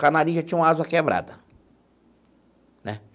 Canarinho já tinha uma asa quebrada né.